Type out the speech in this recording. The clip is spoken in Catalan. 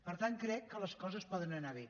per tant crec que les coses poden anar bé